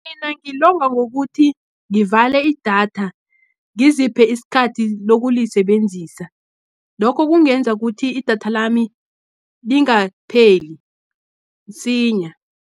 Mina ngilonga ngokuthi, ngivale idatha, ngiziphi isikhathi lokulisebenzisa. Lokho kungenza kuthi, idatha lami lingapheli msinya.